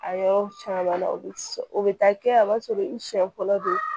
A yɔrɔ caman na o bi o bɛ taa kɛ a b'a sɔrɔ i siɲɛ fɔlɔ don